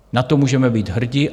Na to můžeme být hrdí.